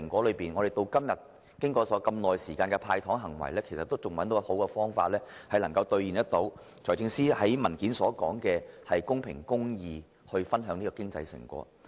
然而，經過長時間的"派糖"行為後，政府至今仍未找到好的方法能夠做到財政司司長在文件中所說的公平公義、分享成果。